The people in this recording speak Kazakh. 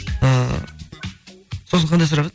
ыыы сосын қандай сұрақ еді